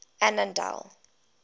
annandale